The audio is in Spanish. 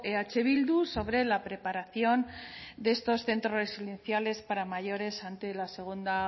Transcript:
eh bildu sobre la preparación de estos centros residenciales para mayores ante la segunda